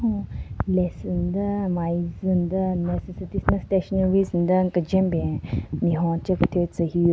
Cho lesu nden nmvu ai zu nden necessities den stationaries nden kejwen ben nme honche kethyu tsü hyu ro --